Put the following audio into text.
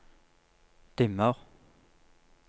dimmer